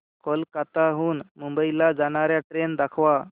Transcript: कोलकाता हून मुंबई ला जाणार्या ट्रेन दाखवा